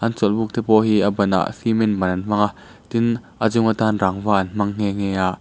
an chawlh buk te pawh hi a banah cement ban an hmang a tin a chung a tan rangva an hmang nghe nghe a.